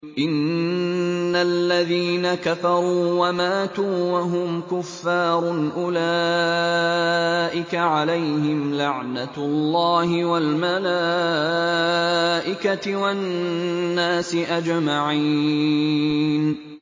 إِنَّ الَّذِينَ كَفَرُوا وَمَاتُوا وَهُمْ كُفَّارٌ أُولَٰئِكَ عَلَيْهِمْ لَعْنَةُ اللَّهِ وَالْمَلَائِكَةِ وَالنَّاسِ أَجْمَعِينَ